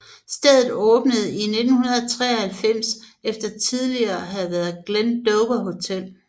Stedet åbnede i 1993 efter tidliger at have været Glendower Hotel